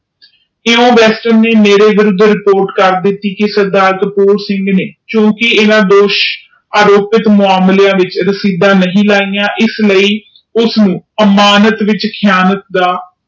ਕਿਉ ਵੇਰਸਟਰ ਨੇ ਮੇਰੇ ਸਰ ਤੇ ਰਿਪੋਰਟ ਕਰ ਦਿਤੀ ਕਿ ਸਰਦਾਰ ਕਪੂਰ ਸਿੰਘ ਨੇ ਕਿਉਕਿ ਇਹਨਾਂ ਦੋਸ਼ ਆਰੋਪਿਤ ਮਾਮਲੇਆਂ ਚ ਰਸੀਦਾਂ ਨਹੀਂ ਲਾਇਆ ਇਸ ਲਾਇ ਉਸ ਨੂੰ ਅਮਾਨਤ ਵਿਚ